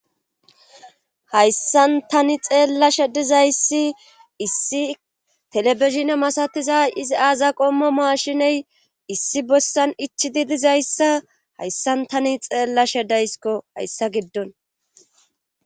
hayssan tani xeellashe dizayssi issi telebishine masatiza izi aaza qommo maashiney issi bossan ichi di dizayssa hayssan tani xeellashedayskko hayssa giddon